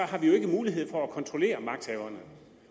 har vi jo ikke mulighed for at kontrollere magthaverne